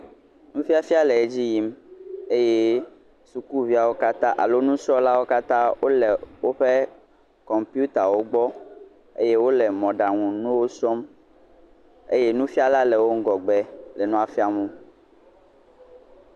Nusiasia le edzi yim eye sukuviawo alo nusrɔla wo katã, kɔmpita le wogbɔ eye wole mɔɖaŋu nuwò srɔm eye nufia le emegbe le nua fiam wò.